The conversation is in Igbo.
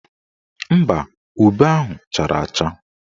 Mba, ube ahụ chara acha.